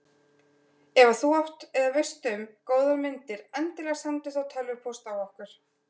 Ef að þú átt eða veist um góðar myndir endilega sendu þá tölvupóst á okkur.